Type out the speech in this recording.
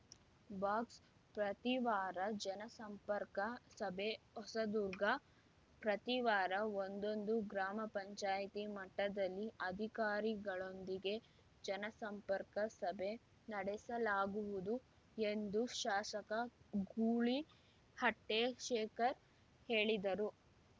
box ಪ್ರತಿ ವಾರ ಜನ ಸಂಪರ್ಕ ಸಭೆ ಹೊಸದುರ್ಗ ಪ್ರತಿವಾರ ಒಂದೊಂದು ಗ್ರಾಮ ಪಂಚಾಯತಿ ಮಟ್ಟದಲ್ಲಿ ಅಧಿಕಾರಿಗಳೊಂದಿಗೆ ಜನ ಸಂಪರ್ಕ ಸಭೆ ನಡೆಸಲಾಗುವುದು ಎಂದು ಶಾಸಕ ಗೂಳೀಹಟ್ಟೆಶೇಖರ್‌ ಹೇಳಿದರು